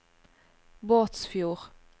Båtsfjord